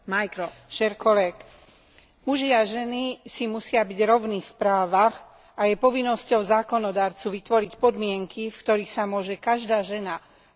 Muži a ženy si musia byť rovní v právach a je povinnosťou zákonodarcu vytvoriť podmienky, v ktorých sa môže každá žena a každý muž naplno realizovať.